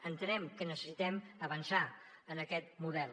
entenem que necessitem avançar en aquest model